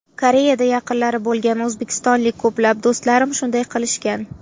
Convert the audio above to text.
Koreyada yaqinlari bo‘lgan o‘zbekistonlik ko‘plab do‘stlarim shunday qilishgan.